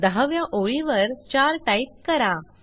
दहाव्या ओळीवर चार टाइप करा